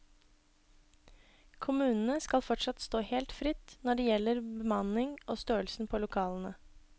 Kommunene skal fortsatt stå helt fritt når det gjelder bemanning og størrelsen på lokalene.